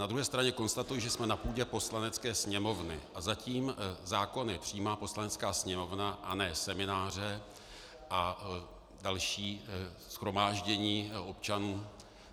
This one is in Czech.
Na druhé straně konstatuji, že jsme na půdě Poslanecké sněmovny a zatím zákony přijímá Poslanecká sněmovna, a ne semináře a další shromáždění občanů.